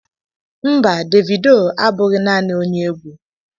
Mba, Davido abụghị naanị onye egwu.